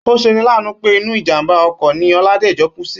Ó se ni láàánú pé inú ìjàmbá okò ni Oládèjo kú sí